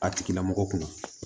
A tigilamɔgɔ kunna